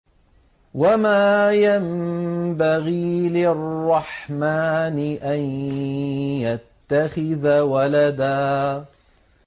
وَمَا يَنبَغِي لِلرَّحْمَٰنِ أَن يَتَّخِذَ وَلَدًا